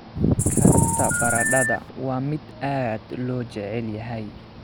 Karinta baradhada waa mid aad loo jecel yahay.